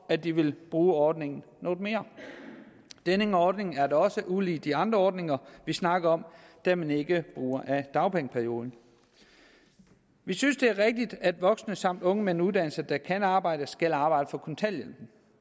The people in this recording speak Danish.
at de vil bruge ordningen noget mere denne ordning er da også ulig de andre ordninger vi snakker om da man ikke bruger af dagpengeperioden vi synes det er rigtigt at voksne samt unge med en uddannelse der kan arbejde skal arbejde for kontanthjælpen